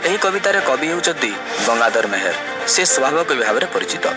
ଏହି କବିତାର କବି ହେଉଛନ୍ତି ଗଙ୍ଗାଧର ମେହେର ସେ ସ୍ଵଭାବ କବି ଭାବରେ ପରିଚିତ।